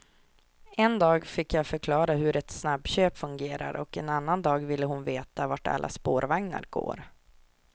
En dag fick jag förklara hur ett snabbköp fungerar och en annan dag ville hon veta vart alla spårvagnar går.